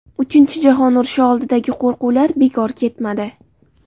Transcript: Uchinchi jahon urushi oldidagi qo‘rquvlar bekor ketmadi.